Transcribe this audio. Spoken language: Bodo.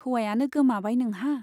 हौवायानो गोमाबाय नोंहा ?